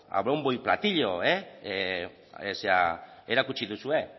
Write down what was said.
a bombo y platillo erakutsi duzue